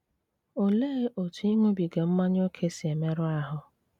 Olee otú ịṅụbiga mmanya ókè si emerụ ahụ́?